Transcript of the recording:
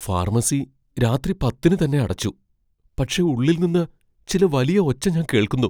Pharmacy രാത്രി പത്തിന് തന്നെ അടച്ചു, പക്ഷേ ഉള്ളിൽ നിന്ന് ചില വലിയ ഒച്ച ഞാൻ കേൾക്കുന്നു.